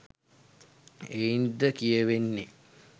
එයින්ද කියැවෙන්නේ